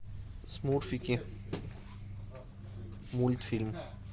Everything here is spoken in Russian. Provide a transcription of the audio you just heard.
смурфики мультфильм